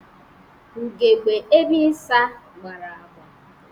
Ugegbe ebe ịsa gbara agba.